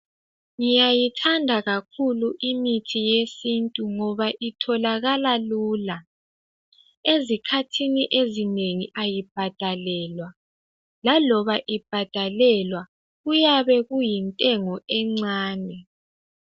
Ngyayithanda kakhulu imithi yesintu ngoba itholakala lula ezikhathini ezinengi ayibhadalelwa laloba ibhadalelwa kuyabe kuyintengo encane .